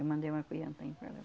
Eu mandei uma para lá.